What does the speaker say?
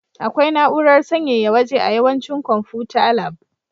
Akwai na'urar sanyaya waje a yawancin konfuta lab.